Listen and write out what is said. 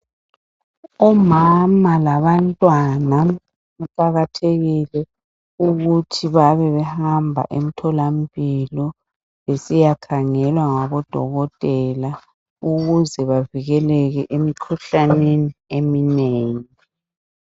Omama labantwana kuqakathekile ukuthi bebehamba emtholampilo besiya khangelwa ngodokotela ukuze bavikelele emkhuhlaneni eminengi.